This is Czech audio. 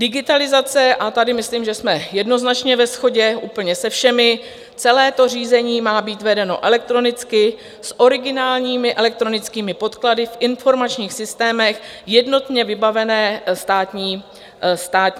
Digitalizace - a tady myslím, že jsme jednoznačně ve shodě úplně se všemi - celé to řízení má být vedeno elektronicky s originálními elektronickými podklady v informačních systémech jednotně vybavené státní správy.